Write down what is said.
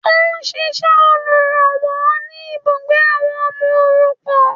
Ó n ṣíṣẹ olùrànwọ́ ni ibùgbé àwọn ọmọ òrukàn